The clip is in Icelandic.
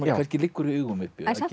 kannski liggur í augum uppi en samt